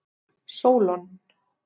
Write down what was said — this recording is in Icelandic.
Sólon